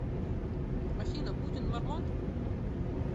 афина путин мормон